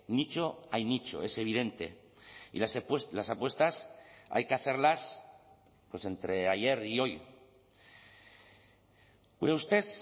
nicho hay nicho es evidente y las apuestas hay que hacerlas entre ayer y hoy gure ustez